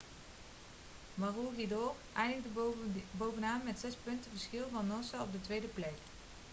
maroochydore eindigde bovenaan met zes punten verschil van noosa op de tweede plek